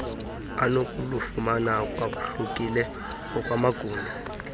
onokulufumana lwahlukile ngokwamagumbi